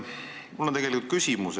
Mul on küsimus.